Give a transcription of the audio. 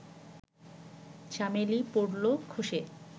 চামেলি পড়ল খসে